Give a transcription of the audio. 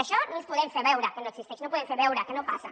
això no podem fer veure que no existeix no podem fer veure que no passa